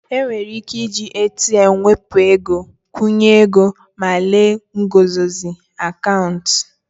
Enwere ike iji ATM wepụ ego, nkwụnye ego ego ma lelee nguzozi akaụntụ